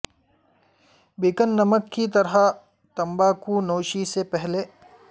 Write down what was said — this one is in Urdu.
بیکن نمک کی طرح تمباکو نوشی سے پہلے